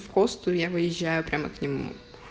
в косту я выезжаю прямо к нему